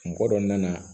Mɔgɔ dɔ nana